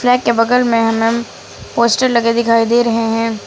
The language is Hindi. फ्लैग के बगल में हमें पोस्टर लगे दिखाई दे रहे हैं।